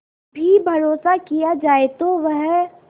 भी भरोसा किया जाए तो वह